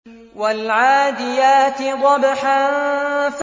وَالْعَادِيَاتِ ضَبْحًا